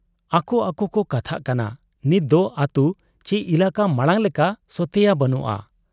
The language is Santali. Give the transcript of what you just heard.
ᱟᱠᱚ ᱟᱠᱚ ᱠᱚ ᱠᱟᱛᱷᱟᱜ ᱠᱟᱱᱟ, 'ᱱᱤᱛᱫᱚ ᱟᱹᱛᱩ ᱪᱤ ᱮᱞᱟᱠᱟ ᱢᱟᱬᱟᱝ ᱞᱮᱠᱟ ᱥᱚᱛᱮᱭᱟ ᱵᱟᱹᱱᱩᱜ ᱟ ᱾